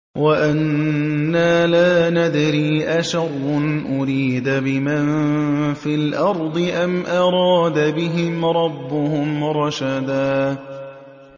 وَأَنَّا لَا نَدْرِي أَشَرٌّ أُرِيدَ بِمَن فِي الْأَرْضِ أَمْ أَرَادَ بِهِمْ رَبُّهُمْ رَشَدًا